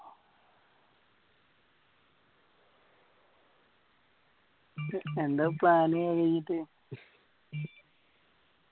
എന്താ plan അത് കഴിഞ്ഞിട്ട്